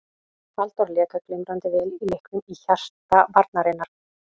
Halldór lék glimrandi vel í leiknum í hjarta varnarinnar.